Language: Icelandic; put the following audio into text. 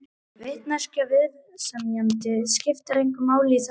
Vitneskja viðsemjenda skiptir engu máli í þessu sambandi.